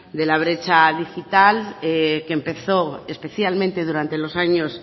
de la brecha digital que empezó especialmente durante los años